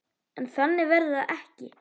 En þannig verður það ekki.